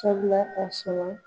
Sabula a sɔrɔ